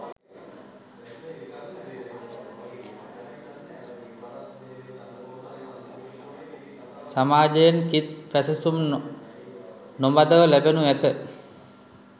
සමාජයෙන් කිත් පැසසුම් නොමදව ලැබෙනු ඇත.